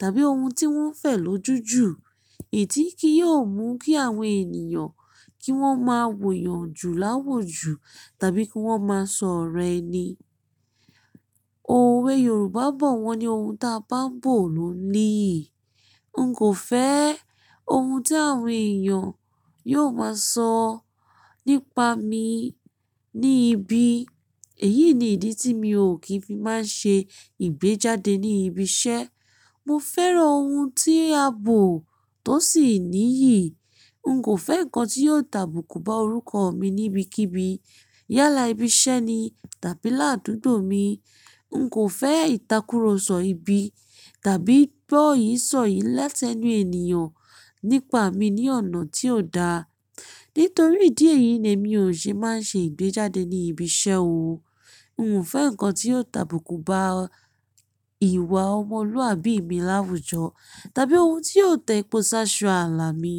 tàbí ohun tí wọ́n fẹ́ lòjúju. Idií tì í yò mú kí àwọn ènìyàn kí wọ́n máa wòyàn jù láwòjù tàbí kí wọ́n máa sọ̀rọ̀ ẹni. Òwe Yorùbá bọ̀ wọ́n ni ohun ta bá ń bò ló niyi. N kò fẹ́ ohun tí àwọn èèyàn yóò máa sọ nípa mi ní ibi. Èyí ni ìdí tí mi ò kí n fi máa ń ṣe ìgbéjáde ní ibi iṣẹ́. Mo fẹ́ràn ohun tí a bò tó sì níyi. N kò fẹ́ nǹkan tí yóò tàbùkù bá orúkọ mi níbikíbi yálà ibi iṣẹ́ ni tàbí ládùgbo mi. N kò fẹ́ ìtàkúrọsọ ibi tàbí gbọ́ yìí sọ̀ yìí lẹ́tẹnu ènìyàn nípa mi ní ọ̀nà tí ò da. Nítorí ìdí èyí ni èmi ò ṣe máa ń ṣe ìgbéjáde ní ibi iṣẹ́ o. N ò fẹ́ nǹkan tí yóò tàbùkù bá ìwà ọmọlúàbí mi láwùjọ tàbí ohun tí yóò tẹpọ̀ sáṣo ààlà mi.